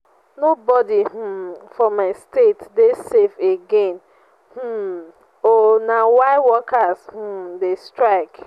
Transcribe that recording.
nobodi um for my state dey safe again um o na why workers um dey strike.